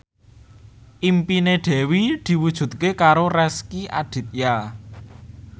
impine Dewi diwujudke karo Rezky Aditya